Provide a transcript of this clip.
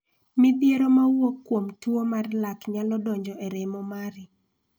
Midhiero ma wuok kuom tuo mar lak nyalo donjo e remo mari.